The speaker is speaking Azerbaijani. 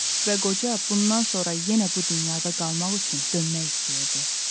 Və qoca bundan sonra yenə bu dünyada qalmaq üçün dönmək istəyirdi.